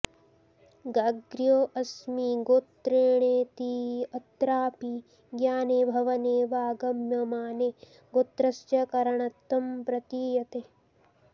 गाग्र्योऽस्मि गोत्रेणेत्यत्रापि ज्ञाने भवने वा गम्यमाने गोत्रस्य करणत्वं प्रतीयते